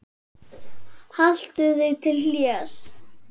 Haltu þig til hlés.